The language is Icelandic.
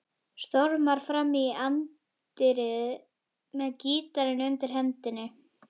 Stormar fram í anddyrið með gítarinn undir hendinni.